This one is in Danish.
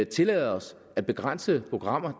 tillade os at begrænse programmer